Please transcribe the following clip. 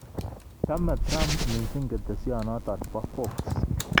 Chame Trump missing ketesyento bo Fox